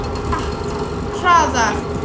Hratt, hraðar.